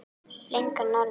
Lengra norður.